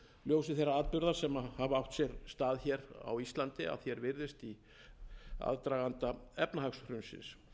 ljósi þeirra atburða sem hafa átt sér stað hér á íslandi að því er virðist í aðdraganda efnahagshrunsins